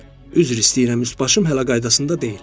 Üzr istəyirəm, üst başım hələ qaydasında deyil.